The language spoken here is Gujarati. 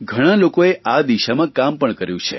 ઘણા લોકોએ આ દિશામાં કામ પણ કર્યું છે